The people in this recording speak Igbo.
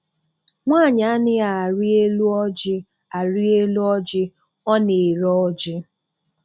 Nwaanyi a naghị arị elu ọjị arị elu ọjị ọ na-ere ọjị.